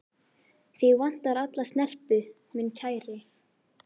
Þig vantar alla snerpu, minn kæri.